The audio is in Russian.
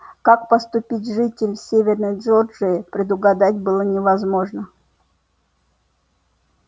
как поступить житель северной джорджии предугадать было невозможно